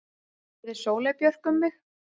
spurði Sóley Björk mig.